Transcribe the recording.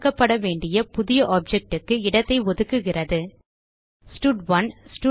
உருவாக்கப்பட வேண்டிய புதிய objectக்கு இடத்தை ஒதுக்குகிறது ஸ்டட்1